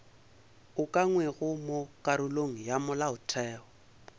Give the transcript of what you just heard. ukangwego mo karolong ya molaotheo